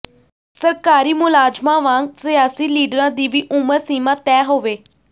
ਸਰਕਾਰੀ ਮੁਲਾਜਮਾਂ ਵਾਂਗ ਸਿਆਸੀ ਲੀਡਰਾਂ ਦੀ ਵੀ ਉਮਰ ਸੀਮਾਂ ਤੈਅ ਹੋਵੇ